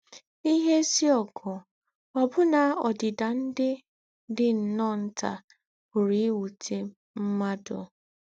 N’íhé èzí ógù, òbù̀nà ódìdà ndí́ dí nnọ́ọ́ ntà pùrù íwùté m̀mùàdù.